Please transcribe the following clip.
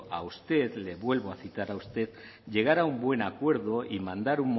a usted le vuelvo a citar a usted llegar a un buen acuerdo y mandar